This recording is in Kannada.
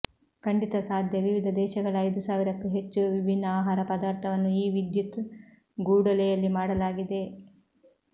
ಖಂಡಿತ ಸಾಧ್ಯ ವಿವಿಧ ದೇಶಗಳ ಐದು ಸಾವಿರಕ್ಕೂ ಹೆಚ್ಚು ವಿಭಿನ್ನ ಆಹಾರ ಪದಾರ್ಥವನ್ನು ಈ ವಿದ್ಯುತ್ ಗೂಡೊಲೆಯಲ್ಲಿ ಮಾಡಲಾಗಿದೆ